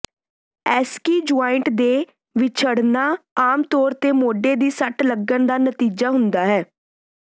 SC joint ਦੇ ਵਿਛੜਨਾ ਆਮਤੌਰ ਤੇ ਮੋਢੇ ਦੀ ਸੱਟ ਲੱਗਣ ਦਾ ਨਤੀਜਾ ਹੁੰਦਾ ਹੈ